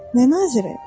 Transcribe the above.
Nə naziri?